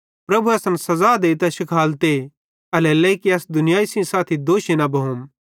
पन प्रभु असन सज़ा देइतां शिखालते एल्हेरेलेइ कि अस दुनियाई सेइं साथी दोषी न भोम